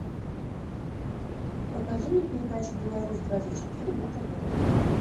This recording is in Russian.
покажи мне передачу беларусь двадцать четыре на тв